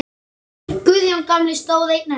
Guðjón gamli stóð einn eftir.